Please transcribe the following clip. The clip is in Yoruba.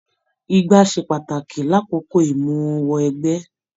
Igbá ṣe pàtàkì l'akoko imuwọ̀ ẹgbẹ.